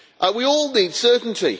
We all need certainty.